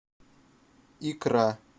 икра